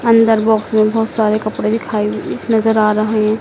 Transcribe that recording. अंदर बॉक्स में बहोत सारी कपड़े दिखाई नजर आ रहें--